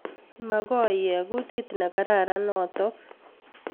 Makoi ek kutit nekararan notok